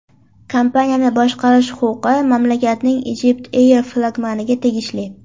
Kompaniyani boshqarish huquqi mamlakatning EgyptAir flagmaniga tegishli.